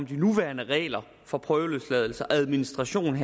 de nuværende regler for prøveløsladelse og administration